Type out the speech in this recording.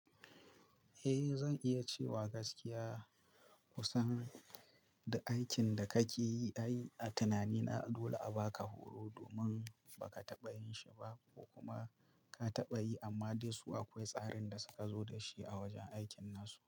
Eh zan iya cewa gaskiya kusan da aikin da kake yi, ai a tunani na dole a baka horo domin baka taɓa yin shi ba ko kuma ka taɓa yi amma dai su akwai tsarin da suka zo da shi a wajen aikin nasu.